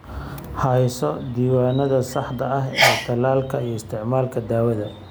Hayso diiwaannada saxda ah ee tallaalka iyo isticmaalka daawada.